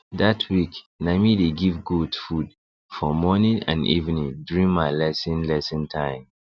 that week na me dey give goat food for morning and evening during my lesson lesson time